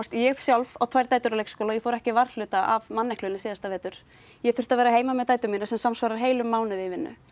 ég sjálf á tvær dætur á leikskóla og ég fór ekki varhluta af manneklunni síðasta vetur ég þurfti að vera heima með dætur mínar sem samsvarar heilum mánuði í vinnu